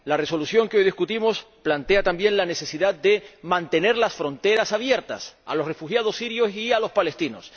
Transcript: La Resolución que hoy debatimos plantea también la necesidad de mantener las fronteras abiertas a los refugiados sirios y a los palestinos.